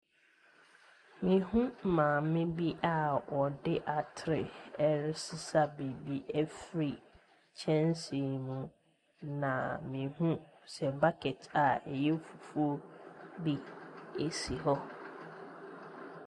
Mehu maame a ɔde atere ɛresesa biri ɛfiri kyɛnse mu, na mehu sɛ bucket a ɛyɛ fufuo bi si hɔ.